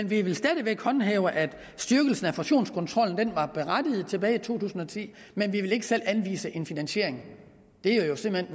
vi vil stadig væk håndhæve at styrkelsen af fusionskontrollen var berettiget tilbage i to tusind og ti men vi vil ikke selv anvise en finansiering det er jo simpelt